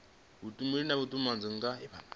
vhutumbuli na vhutumanyi na dzi